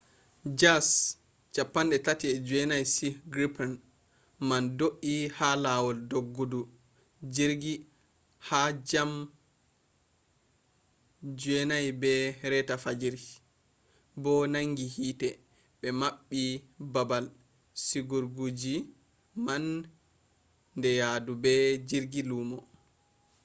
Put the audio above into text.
jas 39c gripen man do’i ha lawol doggudu jirgi do ha jam 9:30 fajiri 0230 utc bo nangi hiite be mabbi babal sigugojirgi man ni yaadu be jirgi lumo